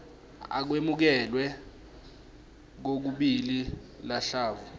akwemukelwe kokubili luhlavu